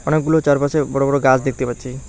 অনেকগুলো চারপাশে বড় বড় গাছ দেখতে পাচ্ছি।